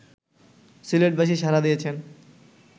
সিলেটবাসী সাড়া দিয়েছেন